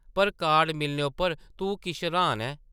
पर कार्ड मिलने उप्पर तूं किश र्हान ऐं ।